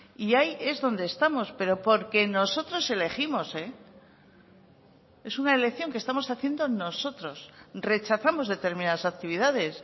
y ahí es donde estamos pero porque nosotros elegimos es una elección que estamos haciendo nosotros rechazamos determinadas actividades